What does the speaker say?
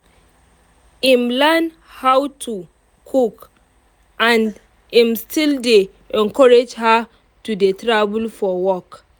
im learn how how to cook and im still dey encourage her to dey travel for work